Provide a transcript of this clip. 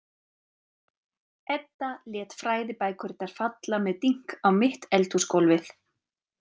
Edda lét fræðibækurnar falla með dynk á mitt eldhúsgólfið.